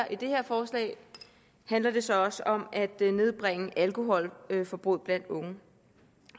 i det her forslag handler det så også om at nedbringe alkoholforbruget blandt unge